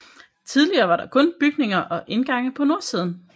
Tidligere var der kun bygninger og indgange på nordsiden